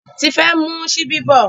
Tife n mu Ṣíbí bó.